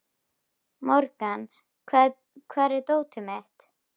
Morgan, hvar er dótið mitt?